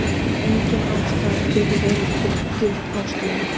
Engin ástæða getur verið fullgild ástæða.